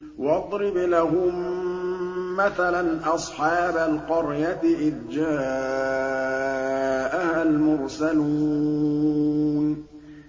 وَاضْرِبْ لَهُم مَّثَلًا أَصْحَابَ الْقَرْيَةِ إِذْ جَاءَهَا الْمُرْسَلُونَ